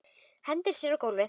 Hendir sér á gólfið.